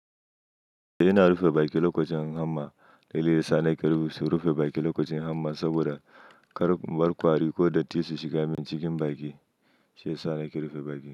Ina rufe baki lokacin hamma. Dalili yasa na karɓi su rufe baki lokacin hamma saboda kar barkwari ko datti su shiga cikin baki. Shiyasa na rufe baki.